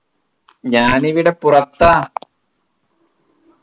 ഞാനിവിടെ പുറത്താ